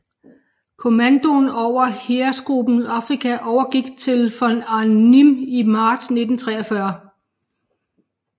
Kommandoen over Heeresgruppe Afrika overgik til von Arnim i marts 1943